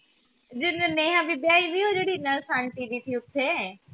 ਜਿਥੇ ਨੇਹਾ, ਵਿਧਿਆ ਹੋਈ ਦੀ ਉਹ ਨਰਸ ਆਈ ਸੀ ਗੀ ਉੱਥੇ